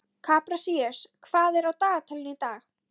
Kaprasíus, hvað er á dagatalinu í dag?